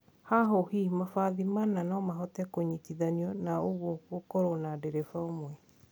Hahuhi mabathi mana no mahote kũnyitithanio na ũguo gũkorwo na dereba ũmwe